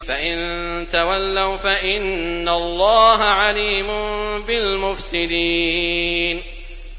فَإِن تَوَلَّوْا فَإِنَّ اللَّهَ عَلِيمٌ بِالْمُفْسِدِينَ